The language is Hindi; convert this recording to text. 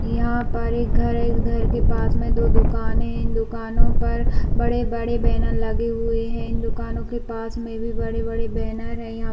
यहाँ पर एक घर है इस घर के पास में दो दुकाने है इन दुकानों पर बड़े-बड़े बैनर लगे हुए है इन दुकानों के पास में भी बड़े-बड़े बैनर है यहाँ--